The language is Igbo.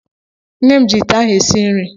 Nne m ji ite ahụ esi nri.